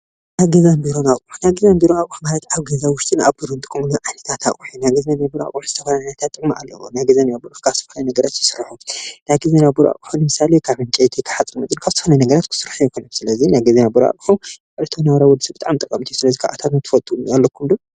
ናይ ገዛን ቢሮን ኣቑሑት ፦ ናይ ገዛን ቢሮን ኣቑሑት ኣብ ገዛ ውሽጥን ኣብ ቢሮን ንጥቀመሎም ዓይነታት ኣቕሑ እዮም። ናይ ገዛን ቢሮን ኣቑሑት ዝተፈላለዩ ጥቅሚ ኣለዎ። ካብ ዝተፈላለዩ ነገራት ይስርሑ። ናይ ቢሮ ኣቑሑት ንምሳሌ ካብ ዕንጨይቲ ፣ካብ ሓፂን መፂን፣ ካብ ዝተፈላለዩ ነገራት ክስርሑ ይኽእሉ። ስለዚ ናይ ቢሮ ኣቑሑት ዕለታዊ ናብራና ብጣዕሚ ጠቐምቲ እዮም። ስለዚ ካብኣቶም ትፈልጥዎም ኣለኩም ዶ?